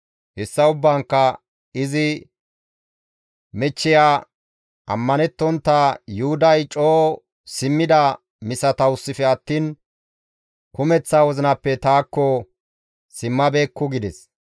Hessan ubbaankka izi michchiya, ammanettontta Yuhuday coo simmidaa misatawusife attiin kumeththa wozinappe taakko simmabeekku» gides.